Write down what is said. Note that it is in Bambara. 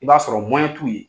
I b'a sɔrɔ t'u ye.